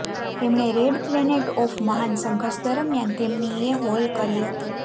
તેમણે red planet of મહાન સંઘર્ષ દરમિયાન તેમની એ હોલ કરી હતી